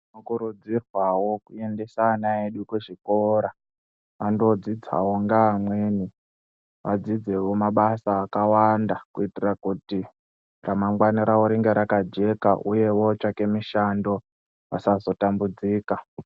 Tinokurudzirwawo tiendesa vana vedu kuzvikora vandodzidzawo vadzizewo mabasa akawanda kuitira kuti ramangwana rawo riye rakajeka uye vatsvake mishando vasazotambudzika.